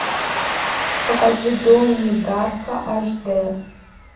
покажи донни дарка аш д